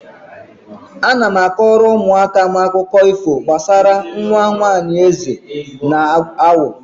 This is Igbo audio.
Ana m akọrọ ụmụaka akụkọ ifo gbasara nwa nwaanyị eze na awọ.